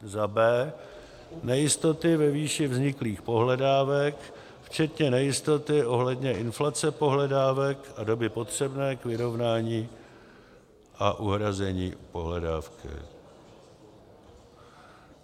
b) nejistoty ve výši vzniklých pohledávek, včetně nejistoty ohledně inflace pohledávek a doby potřebné k vyrovnání a uhrazení pohledávky;